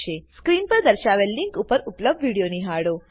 screen પર દર્શાવેલ link પર ઉપલબ્ધ વિડીયો નિહાળો